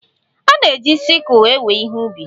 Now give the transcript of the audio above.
A na-eji sikụl ewe ihe ubi.